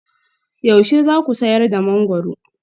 Yaushe za ku sayar da mangwaro?